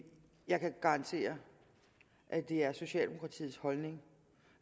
jeg kan garantere at det er socialdemokratiets holdning